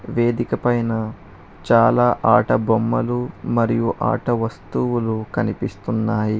వేదిక పైన చాలా ఆట బొమ్మలు మరియు ఆట వస్తువులు కనిపిస్తున్నాయి.